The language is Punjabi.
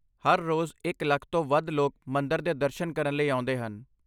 ਹਰ ਰੋਜ਼ ਇੱਕ ਲੱਖ ਤੋਂ ਵੱਧ ਲੋਕ ਮੰਦਰ ਦੇ ਦਰਸ਼ਨ ਕਰਨ ਲਈ ਆਉਂਦੇ ਹਨ।